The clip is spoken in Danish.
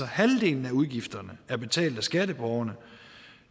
halvdelen af udgifterne er betalt af skatteborgerne